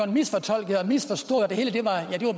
misfortolket og misforstået og at det hele bare